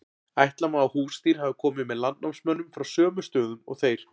ætla má að húsdýr hafi komið með landnámsmönnum frá sömu stöðum og þeir